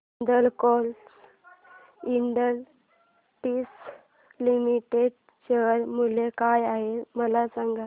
Hindalco industries limited share मूल्य काय आहे मला सांगा